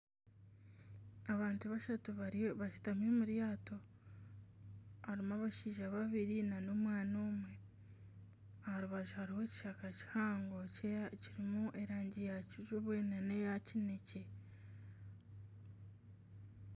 Abantu bashatu bashutami omu ryato harimu abashaija babiri nana omwana omwe aha rubaju hariho ekishaka kihango kirimu erangi ya kijubwe nana eya kinekye